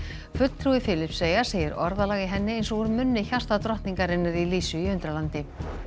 fulltrúi Filippseyja segir orðalag í henni eins og úr munni í Lísu í Undralandi